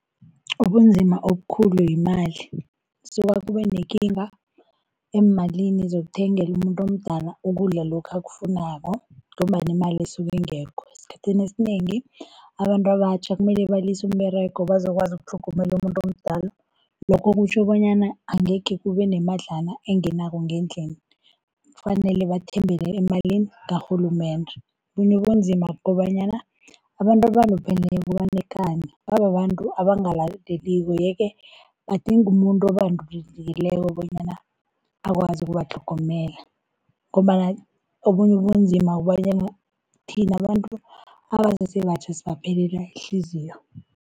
Ubunzima obukhulu yimali, kusuka kube nekinga eemalini zokuthengela umuntu omdala ukudla lokhu akufunako ngombana imali isuka ingekho. Esikhathini esinengi abantu abatjha kumele balise umberego bazokwazi ukutlhogomela umuntu omdala. Lokho kutjho bonyana angekhe kube nemadlana engenako ngendlini kufanele bathembele emalini karhulumende. Obunye ubunzima kukobanyana abantu abalupheleko banekani, bababantu abangalaleliko, yeke badinga umuntu bonyana akwazi ukubatlhogomela. Ngombana obunye ubunzima kukobanyana thina abantu abasese batjha sibaphelela iinhliziyo.